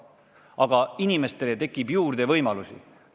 Aga inimestele tekib võimalusi juurde.